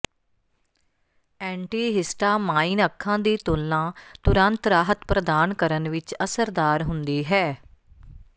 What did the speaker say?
antihistamine ਅੱਖਾਂ ਦੀ ਤੁਲਣਾ ਤੁਰੰਤ ਰਾਹਤ ਪ੍ਰਦਾਨ ਕਰਨ ਵਿੱਚ ਅਸਰਦਾਰ ਹੁੰਦੀ ਹੈ